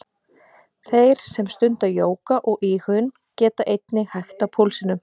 Þeir sem stunda jóga og íhugun geta einnig hægt á púlsinum.